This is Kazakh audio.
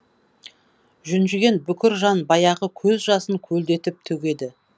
жүнжіген бүкір жан баяғы көз жасын көлдетіп төгеді